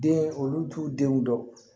Den olu t'u denw dɔn